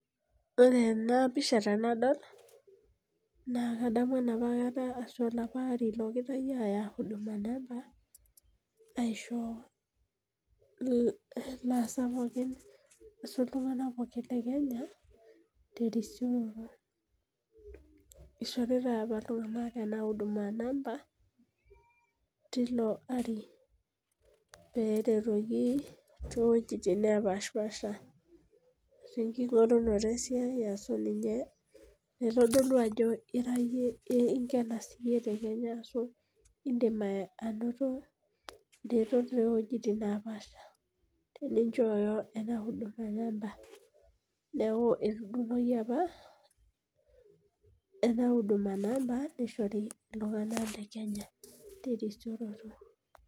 Ore ena pisha tenadol naa kadamu enapakata olapa ari logirae aaya inamba, aisho iltunganak pookin le Kenya, terisioroto. ishoritae apa iltunganak ena huduma number teilo ari. pee eretoki too wuejitin naapashipaasha. tenkingorunoto esiai ashu ninye itodolu ajo inkena siiyie te Kenya ashu idim anoto iretot tol wuejitin napaasha tenichoyo ena huduma namba ,neeku etudung'oki apa ena huduma namba nishori iltunganak le Kenya terisioroto.